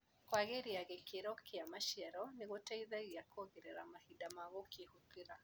Kwagĩria gĩkĩro kia maciaro nĩgũteithagia kuongerera mahinda ma kũhũthĩra.